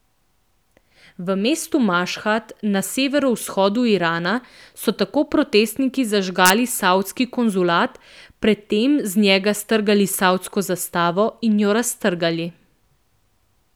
V mestu Mašhad na severovzhodu Irana so tako protestniki zažgali savdski konzulat, predtem z njega strgali savdsko zastavo in jo raztrgali.